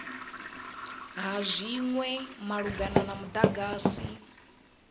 ha zwinwe malugana na mudagasi